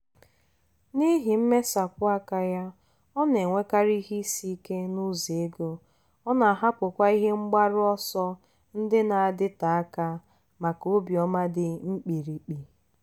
n'ihi mmesapụ aka ya ọ na-enwekarị ihe isi ike n'ụzọ ego ọ na-ahapụkwa ihe mgbaru ọsọ ndị na-adịte aka maka obiọma dị mkpirikpi.